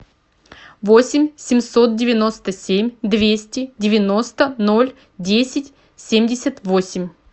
восемь семьсот девяносто семь двести девяносто ноль десять семьдесят восемь